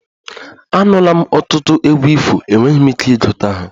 Anụla m ọtụtụ egwu ifo, enweghị m ike ịgụta ha